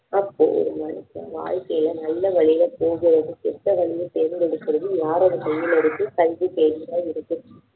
அப்போ ஒரு மனுஷன் வாழ்க்கையில நல்ல வழியை போறதும் கெட்ட வழியை தேர்ந்தெடுக்கிறதும் யாரோட கையில இருக்கு கல்வி கையில் தான் இருக்கு